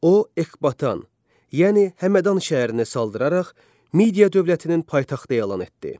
O Ekbatan, yəni Həmədan şəhərini saldıraraq Midiya dövlətinin paytaxtı elan etdi.